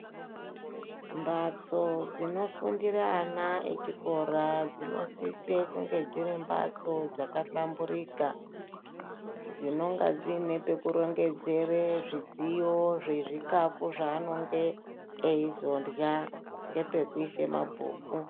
Mbatso dzinofundire ana echikora dzinosise kunge dziri mbatso dzakahlamburika, dzinonga dziine pekurongezere zvidziyo zvezvikafu zvanenge eizorya ngepekuise mabhuku.